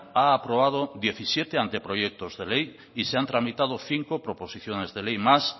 ha aprobado diecisiete anteproyectos de ley y se han tramitado cinco proposiciones de ley más